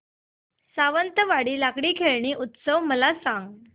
सावंतवाडी लाकडी खेळणी उत्सव मला सांग